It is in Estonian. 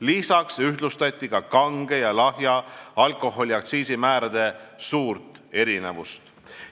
Lisaks vähendati kange ja lahja alkoholi aktsiisimäärade suurt erinevust.